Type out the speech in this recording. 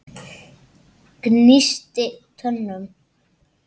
Gnísti tönnum.